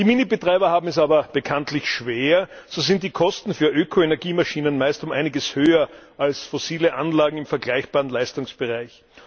Die Minibetreiber haben es aber bekanntlich schwer. So sind die Kosten für Ökoenergiemaschinen meist um einiges höher als fossile Anlagen im vergleichbaren Leistungsbereich.